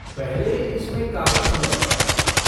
पहले, इसमें काफी समय लगता था।